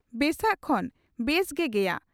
ᱵᱮᱥᱟᱜ ᱠᱷᱚᱱ ᱵᱮᱥ ᱜᱮ ᱜᱮᱭᱟ ᱾